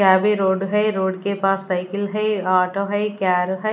यहां भी रोड है रोड के पास साइकिल है ऑटो है कार है।